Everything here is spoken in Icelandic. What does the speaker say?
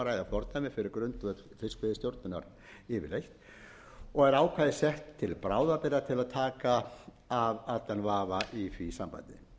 ræða fordæmi fyrir grundvöll fiskveiðistjórnar yfirleitt og er ákvæðið sett til bráðabirgða til að taka af allan vafa í því sambandi